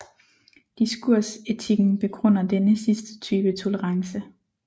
Diskursetikken begrunder denne sidste type tolerance